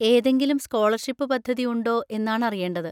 ഏതെങ്കിലും സ്കോളർഷിപ് പദ്ധതി ഉണ്ടോ എന്നാണറിയേണ്ടത്.